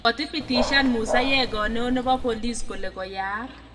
Kotibitishan Musa yego neo nebo bolis kole koyaak